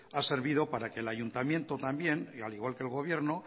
ha servido para que el ayuntamiento también y al igual que el gobierno